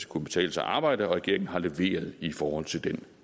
kunne betale sig at arbejde og regeringen har leveret i forhold til den